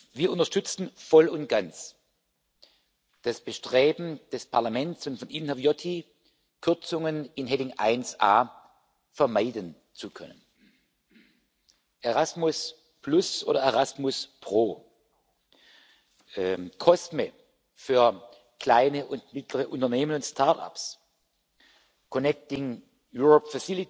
Wir unterstützen voll und ganz das Bestreben des Parlaments und von Ihnen, Herr Viotti, Kürzungen unter der Rubrik 1a vermeiden zu können Erasmus oder ErasmusPro, COSME für kleine und mittlere Unternehmen und Startups, die Fazilität Connecting Europe